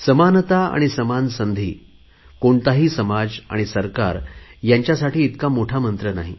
समानता आणि समान संधी कोणताही समाज आणि सरकार यांच्यासाठी इतका मोठा मंत्र नाही